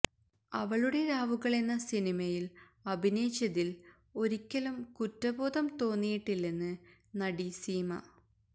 അവളുടെ രാവുകളെന്ന സിനിമയില് അഭിനയിച്ചതില് ഒരിക്കലും കുറ്റബോധം തോന്നിയിട്ടില്ലെന്ന് നടി സീമ